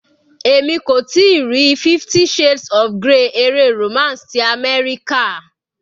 Èmi kò tíì rí 50 shades of grey eré romance ti àmẹ́ríkà.